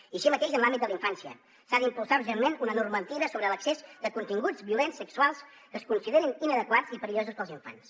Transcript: i així mateix en l’àmbit de la infància s’ha d’impulsar urgentment una normativa sobre l’accés a continguts violents sexuals que es considerin inadequats i perillosos per als infants